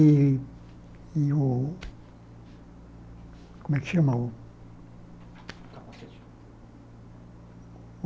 E e o... Como é que chama o?